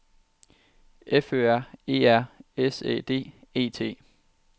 F Ø R E R S Æ D E T